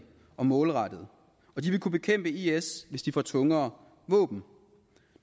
og målrettede og de vil kunne bekæmpe isil hvis de får tungere våben